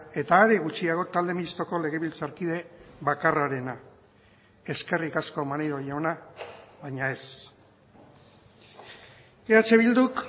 eta are gutxiago talde mistoko legebiltzarkide bakarrarena eskerrik asko maneiro jauna baina ez eh bilduk